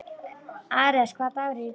Ares, hvaða dagur er í dag?